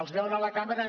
els veuen a la cambra